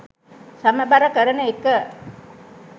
සමබර කරන එක